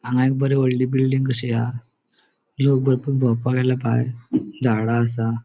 हांगा एक बरी वोडली बिल्डिंग कशी हा लोक भरपुर बोवपाक आयला भायर झाडा असा.